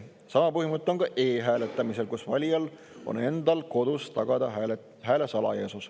Sama põhimõte on ka e-hääletamisel, kus valijal on endal kodus vaja tagada hääle salajasus.